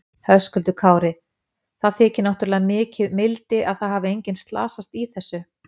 Höskuldur Kári: Það þykir náttúrulega mikið mildi að það hafi engin slasast í þessu?